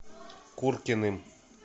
куркиным